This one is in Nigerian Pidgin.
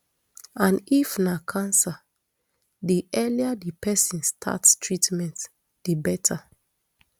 and if na cancer di earlier di pesin start treatment di beta